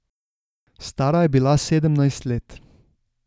Stara je bila sedemnajst let.